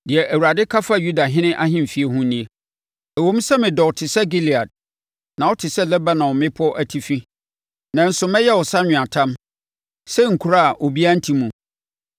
Deɛ Awurade ka fa Yudahene ahemfie ho nie: “Ɛwom sɛ medɔ wo te sɛ Gilead na wote sɛ Lebanon mmepɔ atifi, nanso, mɛyɛ wo sɛ anweatam, sɛ nkuro a obiara nte mu.